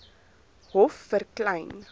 hof vir klein